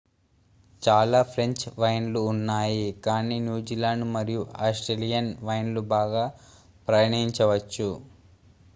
చాలా ఫ్రెంచ్ వైన్లు ఉన్నాయి కానీ న్యూజిలాండ్ మరియు ఆస్ట్రేలియన్ వైన్లు బాగా ప్రయాణించవచ్చు